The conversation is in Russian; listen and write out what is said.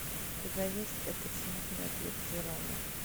у тебя есть этот смутный объект желания